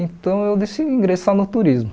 Então eu decidi ingressar no turismo.